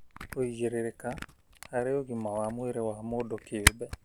Kũigĩrĩrĩka harĩ ũgima wa mwĩrĩ wa mũndũ kĩũmbe